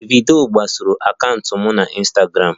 Davido gbasoro akaụntụ m na Ịnstagramụ